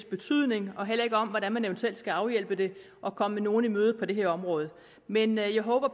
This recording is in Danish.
betydning og heller ikke om hvordan man eventuelt skal afhjælpe det og komme nogle i møde på det her område men jeg håber